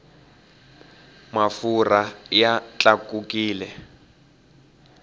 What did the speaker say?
mafurha ya tlakukile